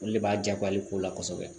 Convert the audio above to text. Olu de b'a diyako ale ko la kosɛbɛ